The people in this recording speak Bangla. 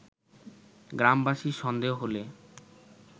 গ্রামবাসীর সন্দেহ হলে